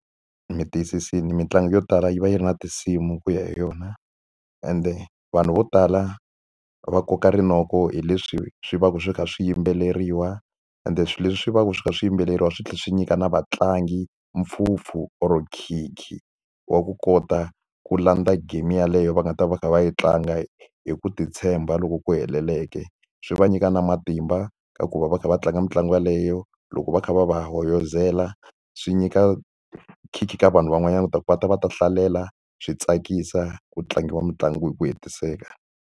Mi tiyisisile mitlangu yo tala yi va yi ri na tinsimu ku ya hi yona, ende vanhu vo tala va koka rinoko hi leswi swi va swi kha swi yimbeleriwa. Ende swilo leswi swi va ku swi kha swi yimbeleriwa swi tlhela swi nyika na vatlangi mpfhumpfu or nkhinkhi wa ku kota ku landza game yeleyo va nga ta va kha va yi tlanga hi ku titshemba loku ku heleleke. Swi va nyika na matimba ka ku va va kha va tlanga mitlangu yeleyo, loko va kha va va hoyozela swi nyika nkhinkhi ka vanhu van'wanyana leswaku va ta va ta hlalela, swi tsakisa, ku tlangiwa mitlangu hi ku hetiseka.